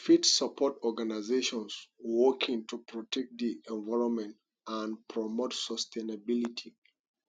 you fit suport organizations working to protect di environment and promote sustainability